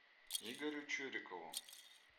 игорю чурикову